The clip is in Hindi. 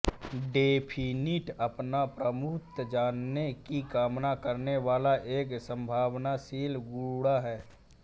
डेफिनिट अपना प्रभुत्व जमाने की कामना करने वाला एक संभावनाशील गुंडा है